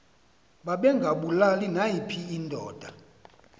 babengabulali nayiphi indoda